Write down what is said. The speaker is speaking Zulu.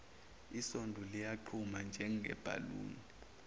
isondo liyaqhuma njengebhaluni